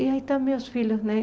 E aí estão meus filhos, né?